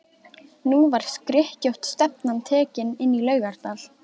Nú var skrykkjótt stefnan tekin inn í Laugardal.